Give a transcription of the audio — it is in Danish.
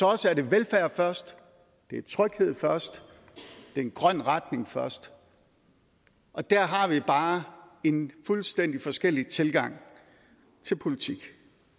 os er det velfærd først det er tryghed først det er en grøn retning først og der har vi bare en fuldstændig forskellig tilgang til politik